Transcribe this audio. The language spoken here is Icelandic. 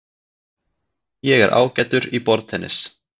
Ég er ágætur í borðtennis.